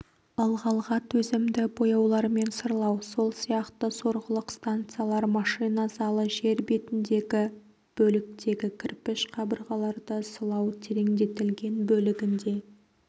ылғалға төзімді бояулармен сырлау сол сияқты сорғылық станциялар машина залы жер бетіндегі бөліктегі кірпіш қабырғаларды сылау тереңдетілген бөлігінде